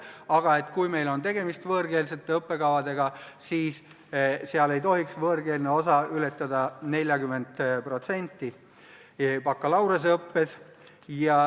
Aga kui meil on tegemist võõrkeelsete õppekavadega, siis neis ei tohiks võõrkeelne osa ületada 40% bakalaureuseõppest.